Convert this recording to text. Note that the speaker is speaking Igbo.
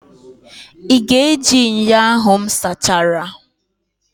Ị ga-eji ṅyọ ahụ m sachara?